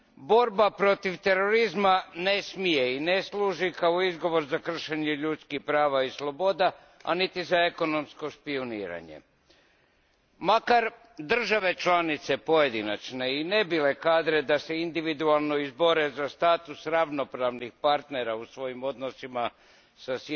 Borba protiv terorizma ne smije i ne služi kao izgovor za kršenje ljudskih prava i sloboda, a niti za ekonomsko špijuniranje. Makar države članice, pojedinačne, i ne bile kadre da se individualno izbore za status ravnopravnih partnera u svojim odnosima sa